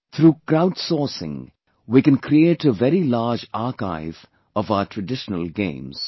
Through crowd sourcing we can create a very large archive of our traditional games